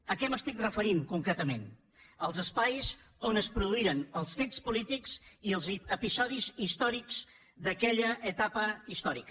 a què m’estic referint concretament als espais on es produïren els fets polítics i els episodis històrics d’aquella etapa històrica